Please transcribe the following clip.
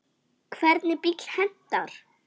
Hvernig bíll hentar?